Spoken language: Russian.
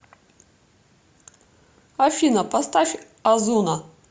афина поставь озуна